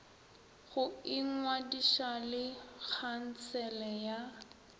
go ingwadiša le khansele ya